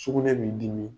Sugunɛ b'i dimi